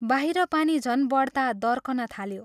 बाहिर पानी झन् बढ्ता दर्कन थाल्यो।